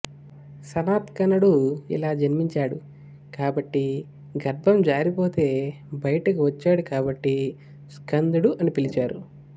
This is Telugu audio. సనత్కుమారుడు ఇలా జన్మించాడు కాబట్టి గర్భం జారిపోతే బయటకు వచ్చాడు కాబట్టి స్కందుడు అని పిలిచారు